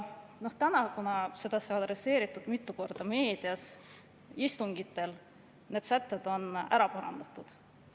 Nüüd, kuna seda sai mitu korda adresseeritud meedias ja istungitel, siis need sätted on ära parandatud.